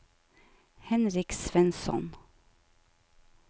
Henrik Svensson